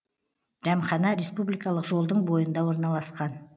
дәмхана республикалық жолдың бойында орналасқан